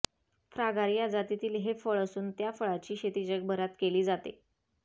फ्रागार्या जातीतील हे फळ असून त्या फळाची शेती जगभरात केली जाते